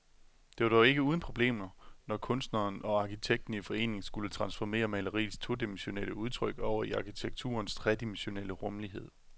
Det var dog ikke uden problemer, når kunstneren og arkitekten i forening skulle transformere maleriets todimensionelle udtryk over i arkitekturens tredimensionelle rumlighed.